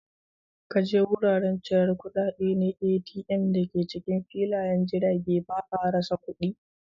Ka je wuraren cirar kudade na ATM da ke cikin Filayen Jirage, ba a rasa kudi.